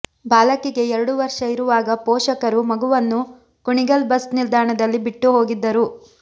ಬಾಲಕಿಗೆ ಎರಡು ವರ್ಷ ಇರುವಾಗ ಪೋಷಕರು ಮಗುವನ್ನು ಕುಣಿಗಲ್ ಬಸ್ ನಿಲ್ದಾಣದಲ್ಲಿ ಬಿಟ್ಟು ಹೋಗಿದ್ದರು